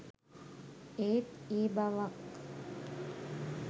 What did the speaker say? ඒත් ඒ බවක්